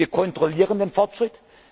Ermahnungen. Wir kontrollieren den